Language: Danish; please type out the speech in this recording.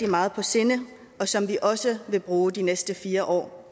meget på sinde og som vi også vil bruge de næste fire år